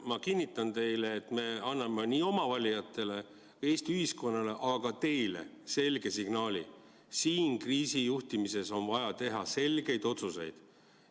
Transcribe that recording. Ma kinnitan teile, et me anname oma valijatele, Eesti ühiskonnale, aga ka teile selge signaali: siin kriisijuhtimises on vaja teha selgeid otsuseid.